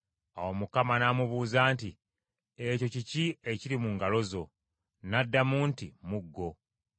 Awo Mukama n’amubuuza nti, “Ekyo kiki ekiri mu ngalo zo?” N’addamu nti, “Muggo.”